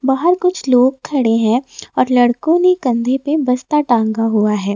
बाहर कुछ लोग खड़े हैं और लड़कों ने कंधे पे बस्ता टांगा हुआ है।